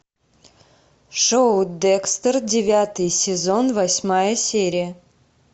шоу декстер девятый сезон восьмая серия